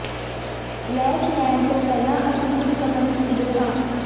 ਲੇਸ ਲੈਣ ਤੋਂ ਪਹਿਲਾਂ ਅਸੀਂ ਕੁਝ ਕਦਮ ਚੁੱਕਦੇ ਹਾਂ